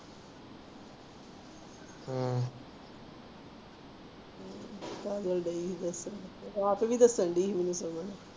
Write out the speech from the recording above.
ਕਾਜਲ ਢਾਈ ਹੀ ਕੁਛ ਕਹਿਣ ਰਾਤ ਵੀ ਕੁਛ ਕਹਿੰਦੀ ਹੀ ਮੈਨੂੰ ਚਵਲ